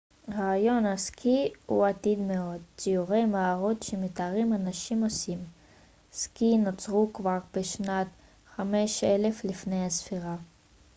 רעיון הסקי הוא עתיק מאוד ציורי מערות שמתארים אנשים עושים סקי נוצרו כבר בשנת 5000 לפני הספירה